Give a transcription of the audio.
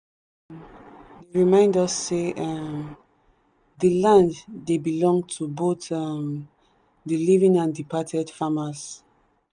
remind us say um the land dey belong to both um the living and departed farmers.